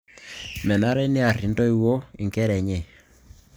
Menare niarr intoiwuo inkera enye